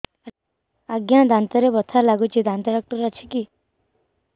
ଆଜ୍ଞା ଦାନ୍ତରେ ବଥା ଲାଗୁଚି ଦାନ୍ତ ଡାକ୍ତର ଅଛି କି